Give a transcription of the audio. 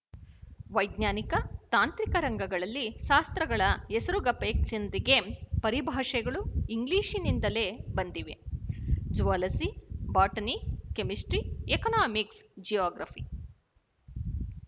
ವೈಜ್ಞಾನಿಕ ತಾಂತ್ರಿಕ ರಂಗಗಳಲ್ಲಿ ಶಾಸ್ತ್ರಗಳ ಹೆಸರುಗಪೇಕ್ಷಿಂದಿಗೆ ಪರಿಭಾಷೆಗಳೂ ಇಂಗ್ಲಿಶಿನಿಂದಲೇ ಬಂದಿವೆ zoology botany chemistry economics geography